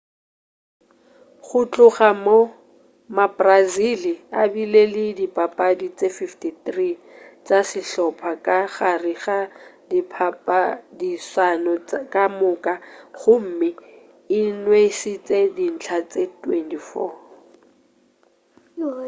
go tloga moo mabrazili a bile le dipapadi tše 53 tša sehlopa ka gare ga diphadišano ka moka gomme e nwešitše dintlha tše 24